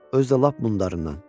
Özü də lap bunlarından.